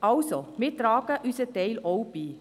Also, wir tragen unseren Teil auch bei.